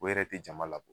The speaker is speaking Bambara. O yɛrɛ tɛ jama labɔ